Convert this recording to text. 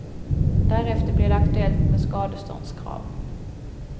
Därefter blir det aktuellt med skadeståndskrav.